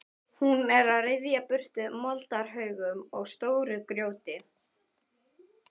Hún er að ryðja burtu moldarhaugum og stóru grjóti.